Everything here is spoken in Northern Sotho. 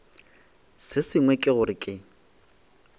se sengwe ke gore ke